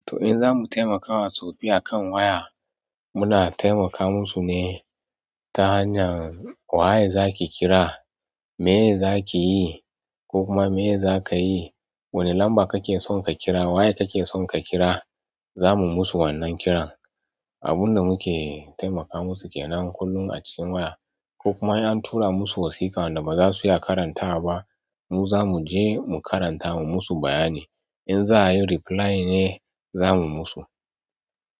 To, in za mu taimakawa taoffi akan waya, muna taimaka musu ne ta hanyar wa ye za ki kira, me za ki yi ko kuma me za ka yi, wani lamba kake son ka kira, wa ye kake son ka kira, za mu musu wannan kiran. Abun da muke taimaka musu ke nan kullum a cikin waya, ko kuma an tura musu wasiƙa wadda ba za su iya karantawa ba. Mu za mu je mu karanta mu musu bayani. In za a yi reply ne, za mu musu.